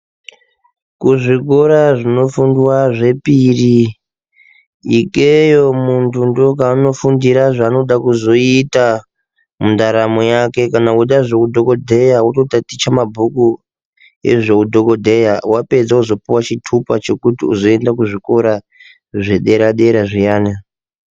Ku zvikora zvinofundwa zvepiri ikweyo muntu ndo kwaano fundira zvaanoda kuzoita mundaramo yake kana kuda zve udhokodheya woto taticha mabhuku ezve udhokodheya wapedza wozopuwa chitupa chekuti uzoenda ku zvikora zve dera dera zviyana.